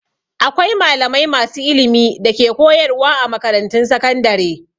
Akwai malamai masu ilimi da ke koyarwa a makarantun sakandare.